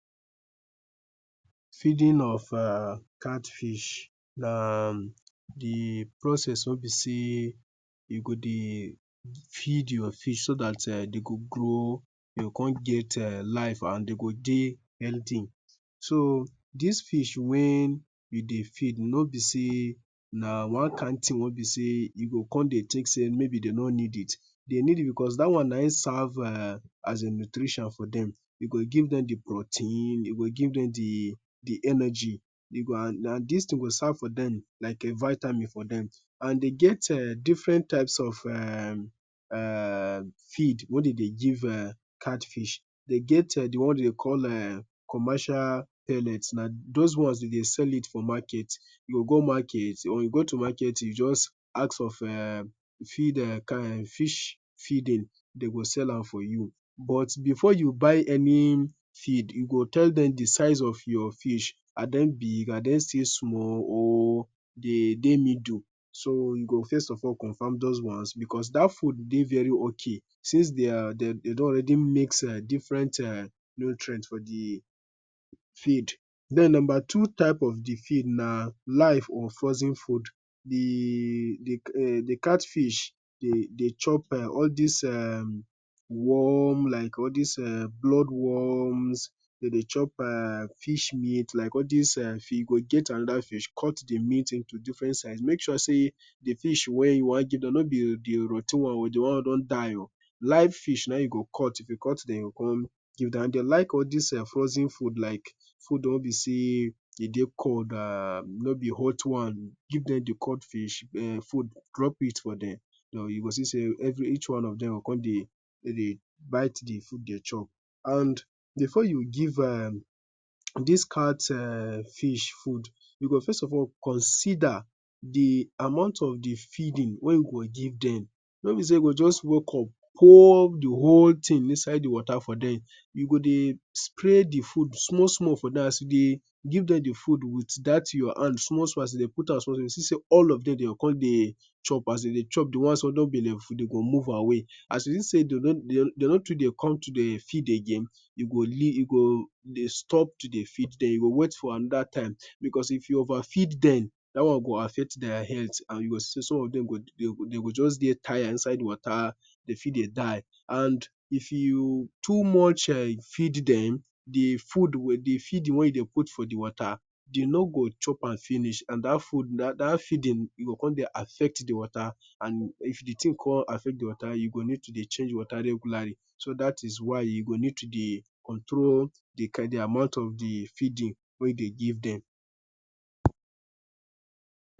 Feeding of erm catfish na ermm de process weh be say you go de feed your fish so dat erm de go grow, go come get erm life and de go de healthy. So dis fish wen you de feed no be say na one kind tin weh be say u go come de take say de no need it. They need it because dat wan na en Serve as de nutrition for dem. U go give dem de protein, u go give dem de de energy. E go and dis tin go serve de as vitamin for dem. And de get different types of ermm feed weh de de give errrr catfish. De get de ones weh de de call ermm, commercial ellets na those ones de sell it for market. You go to market you jus ask for ermm fish feeding, they will sell it for you. But before you buy any feed, you will tell them the size of your fish, are they big are they still small, or dem de middle so you go first of all confirm those ones because that food de very okay since de don already mix erm different nutrient for the feed. Then number two type of feed na life or frozen food. The catfish de chop all these erm worm like all this blood worm, de de chop fish meat, like All this fish, cut the meat into different size. Make sure say de fish weh u wan give am no be rot ten one or one weh don die o live fish na e u go cut come give dem. Dem like all erm frozen food. Food weh be say e de cold no be hot one, give dem de cold food, drop it for dem. U go see say each one of dem go com de bit de food de chop. And before you give erm dis cat fish food, you go come consider the amount of feeding weh u go give dem. No be say u go just wake up pour de whole tin inside water give dem, u go de spray de food small small for dem. As you de give dem de food with that your hand small small u go see say all of dem go come de chop as de de chop, de ones weh belle full go move away. As u see say de no too de come to de feed again, u go de stop to de feed dem, u go wait for anoda time because if you over feed dem, that wan go affect dia health. You go see say some of dem go de tired inside water de fit de die and if you too much feed dem, de feeding weh u put for de water, de no go chop am finish and that feeding go come de affect de water And if de tin affect de water, you go need to de change de water regularly so that is why you go need to de control the amount of de feeding weh U de give dem.